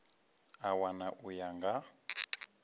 a wana u ya nga